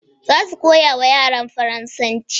Za su koyawa yaran faransanci